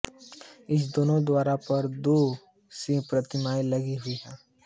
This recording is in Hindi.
इस दोनों द्वार पर दो सिंह प्रतिमाएं लगी हुई है